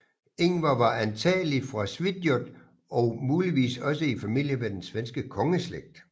Ingvar var antagelig fra Svitjod og muligvis også i familie med den svenske kongeslægt